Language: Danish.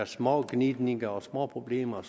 små gnidninger og små problemer